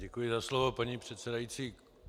Děkuji za slovo, paní předsedající.